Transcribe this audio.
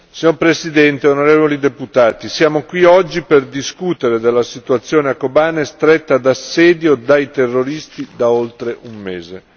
Signor Presidente, onorevoli deputati, siamo qui oggi per discutere della situazione a Kobane, stretta in assedio dai terroristi da oltre un mese.